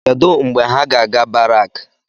Kedụ mgbe ha ga-aga barak?